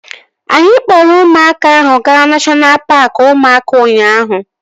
Anyị kpọrọ ụmụaka ahụ gaa neshọna paaki ụmụaka ụnyaahụ